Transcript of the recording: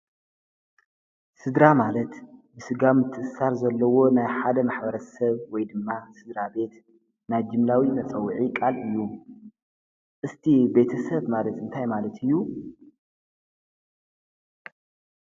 ሥድራ ማለት ብሥጋ ምትሳር ዘለዎ ናይ ሓደ መኅበረት ሰብ ወይ ድማ ሥድራ ቤት ናይ ጅምላዊ መጸውዒ ቓል እዩ እስቲ ቤተ ሰብ ማለት እንታይ ማለት እዩ።